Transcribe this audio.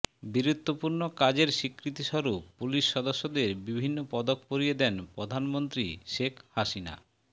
বীরত্বপূর্ণ কাজের স্বীকৃতিস্বরূপ পুলিশ সদস্যদের বিভিন্ন পদক পরিয়ে দেন প্রধানমন্ত্রী শেখ হাসিনা